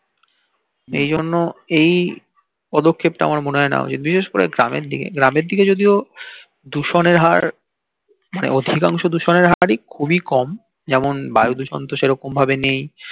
এই জন্য এই পদক্ষেপ টা আমার মনে হয় নেয়া উচিত বিশেষ করে গ্রামের দিকে গ্রামের দিকে যদিও দূষণের হার মানে অধিকাংশ দূষণের হারই খুবই কম যেমন বায়ু দূষণ তো সেরকম ভাবে নেই